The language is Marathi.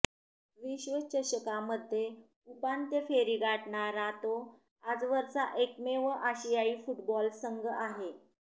विश्वचषकामध्ये उपांत्य फेरी गाठणारा तो आजवरचा एकमेव आशियाई फुटबॉल संघ आहे